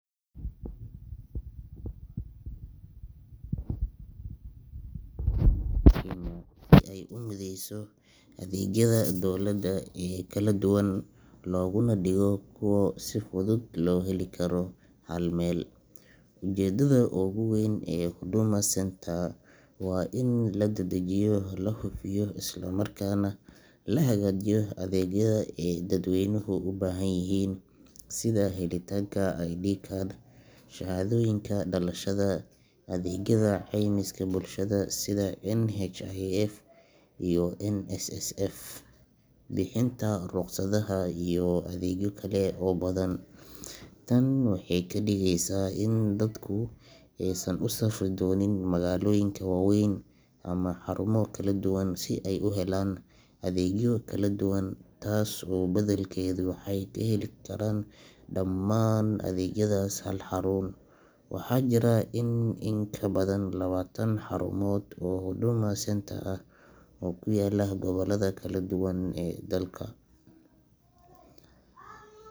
Huduma Centre waa xarun dowladeed oo laga hirgeliyey dalka Kenya si ay u mideyso adeegyada dowladda ee kala duwan, loogana dhigo kuwo si fudud loogu heli karo hal meel. Ujeeddada ugu weyn ee Huduma Centre waa in la dedejiyo, la hufiyo, islamarkaana la hagaajiyo adeegyada ay dadweynuhu u baahan yihiin, sida helitaanka ID card, shahaadooyinka dhalashada, adeegyada caymiska bulshada sida NHIF iyo NSSF, bixinta rukhsadaha, iyo adeegyo kale oo badan. Tan waxay ka dhigaysaa in dadku aysan u safri doonin magaalooyin waaweyn ama xarumo kala duwan si ay u helaan adeegyo kala duwan, taas beddelkeeda waxay ka heli karaan dhammaan adeegyadaas hal xarun. Waxaa jira in ka badan labaatan xarumood oo Huduma Centre ah oo ku kala yaalla gobollada kala duwan ee dalka,